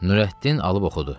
Nurəddin alıb oxudu.